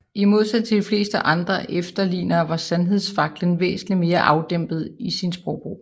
I modsætning til de fleste andre efterlignere var Sandhedsfaklen væsentligt mere afdæmpet i sin sprogbrug